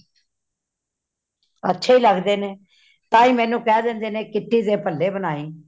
ਅੱਛੇ ਲੱਗਦੇ ਨੇ ਤਾਹਿ ਮੇਨੂ ਕੇ ਦੇਂਦੇ ਨੇ ,kitty ਤੇ ਬੱਲੇ ਬਨਾਈ।